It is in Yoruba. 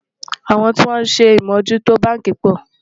àwọn tí wón sé amò jù tó bánkì pò